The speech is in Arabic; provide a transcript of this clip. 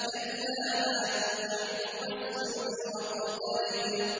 كَلَّا لَا تُطِعْهُ وَاسْجُدْ وَاقْتَرِب ۩